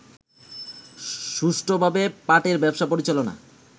সুষ্ঠুভাবে পাটের ব্যবসা পরিচালনা